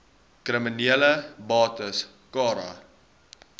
kriminele bates cara